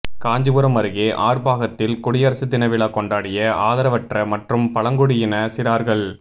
காஞ்சிபுரம் அருகே ஆற்பாகத்தில் குடியரசுதின விழா கொண்டாடிய ஆதவரற்ற மற்றும் பழங்குடியின சிறாா்கள்